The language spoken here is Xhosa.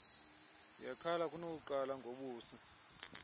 yekhala kunokuqala ngobusi